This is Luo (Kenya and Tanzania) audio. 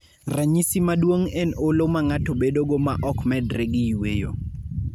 Ranyisi maduong' en olo ma ng'ato bedogo ma ok medre gi yueyo.